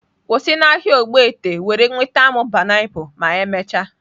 Kwụsị n'ahịa Ogbete were nweta m pineapples ma emechaa!.